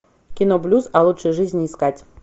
кино блюз о лучшей жизни искать